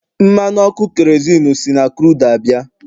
mmanụ ọkụ kerozinu si na crudu abịa